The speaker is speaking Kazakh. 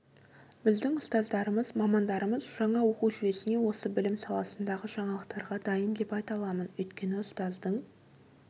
біздің ұстаздарымы мамандарымыз жаңа оқу жүйесіне осы білім саласындағы жаңалықтарға дайын деп айта аламын өйткені ұстаздың